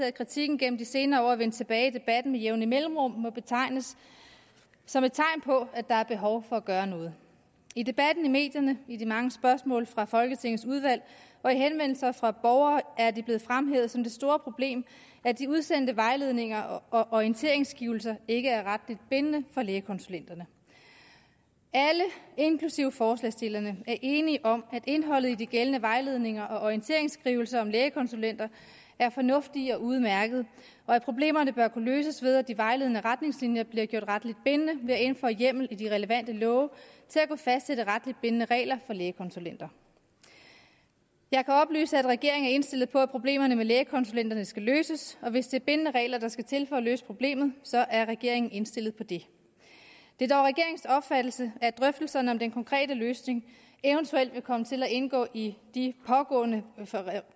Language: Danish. at kritikken gennem de senere år er vendt tilbage i debatten med jævne mellemrum må betegnes som et tegn på at der er behov for at gøre noget i debatten i medierne i de mange spørgsmål fra folketingets udvalg og i henvendelser fra borgere er det blevet fremhævet som det store problem at de udsendte vejledninger og orienteringsskrivelser ikke er retligt bindende for lægekonsulenterne alle inklusive forslagsstillerne er enige om at indholdet i de gældende vejledninger og orienteringsskrivelser om lægekonsulenter er fornuftige og udmærkede og at problemerne bør kunne løses ved at de vejledende retningslinjer bliver gjort retligt bindende ved at indføre hjemmel i de relevante love til at kunne fastsætte retligt bindende regler for lægekonsulenter jeg kan oplyse at regeringen er indstillet på at problemerne med lægekonsulenterne skal løses og hvis det er bindende regler der skal til for at løse problemet så er regeringen indstillet på det det er dog regeringens opfattelse at drøftelserne om den konkrete løsning eventuelt vil komme til at indgå i de pågående